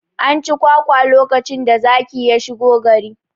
An ci kwakwa lokacin da zaki ya shigo gari